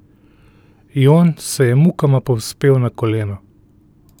Jon se je mukoma povzpel na koleno.